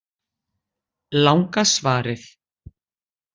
Langa svarið